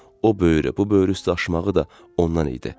O böyrü, bu böyrü üstə aşmağı da ondan idi.